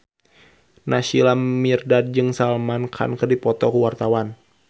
Naysila Mirdad jeung Salman Khan keur dipoto ku wartawan